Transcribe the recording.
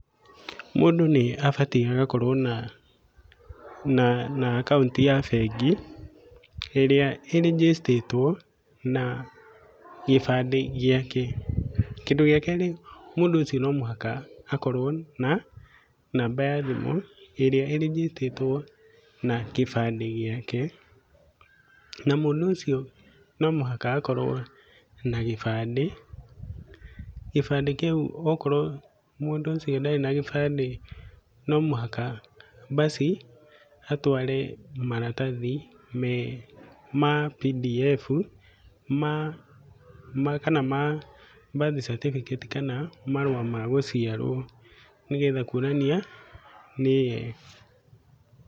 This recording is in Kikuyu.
Mũndũ nĩ abatie agakorwo na na na akaũnti ya bengi, ĩrĩa ĩ register ĩtwo na gĩbandĩ gĩake. Kĩndũ gĩa kerĩ no nginya mũndũ ũcio akorwo na namba ya thimũ ĩrĩa ĩ register ĩtwo na gĩbandĩ gĩake. Na mũndũ ũcio no nginya akorwo na gĩbandĩ, na gibandĩ kĩu okorwo mũndũ ũcio ndarĩ na gibandĩ , no mũhaka basi atware maratathi me ma pdf ma ma kana ma birth certificate kana marũa ma gũciarwo nĩgetha kuonania nĩye.